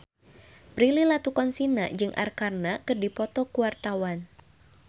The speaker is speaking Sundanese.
Prilly Latuconsina jeung Arkarna keur dipoto ku wartawan